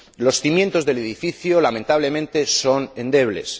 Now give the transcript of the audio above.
Los cimientos del edificio, lamentablemente, son endebles.